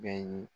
Bɛɛ ye